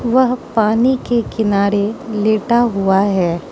वह पानी के किनारे लेटा हुआ है।